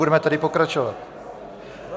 Budeme tedy pokračovat.